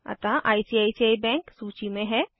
अतः ICICI bank सूची में है